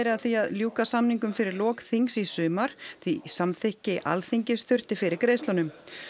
að því að ljúka samningum fyrir lok þings í sumar því samþykki Alþingis þurfti fyrir greiðslunum